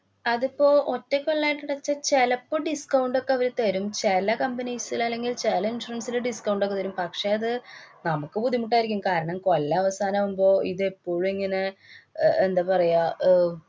അതിപ്പോ ഒറ്റ കൊല്ലായിട്ട് അടച്ചാ ചെലപ്പോ discount ഒക്കെ അവര്ത രും. ചെല companies ലല്ലെങ്കില്‍ ചെല insurance ല് discount ഒക്കെ തരും. പക്ഷേ അത് നമുക്ക്‌ ബുദ്ധിമുട്ടായിരിക്കും. കാരണം, കൊല്ലാവസാനം ആവുമ്പോ ഇതെപ്പോഴും ഇങ്ങനെ അഹ് എന്താ പറയ അഹ്